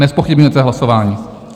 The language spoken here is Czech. Nezpochybňujete hlasování?